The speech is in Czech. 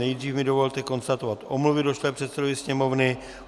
Nejdříve mi dovolte konstatovat omluvy došlé předsedovi Sněmovny.